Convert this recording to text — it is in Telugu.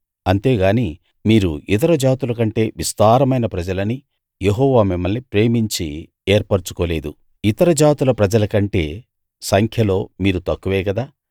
అంతేగానీ మీరు ఇతర జాతులకంటే విస్తారమైన ప్రజలని యెహోవా మిమ్మల్ని ప్రేమించి ఏర్పరచుకోలేదు ఇతర జాతుల ప్రజలకంటే సంఖ్యలో మీరు తక్కువే గదా